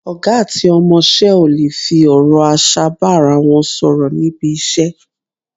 Ọ̀gá àti ọmọṣẹ́ ò lè fi ọ̀rọ̀ aṣa bá ara wọn sọ̀rọ̀ níbi iṣẹ́,